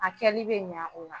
A kɛli bɛ ɲan an bolo.